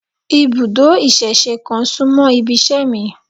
Ibùdó ìsẹ̀se kan súmọ́ ibiṣẹ́ mi